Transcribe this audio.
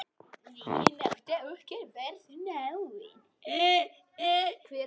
Vinátta okkar varð náin.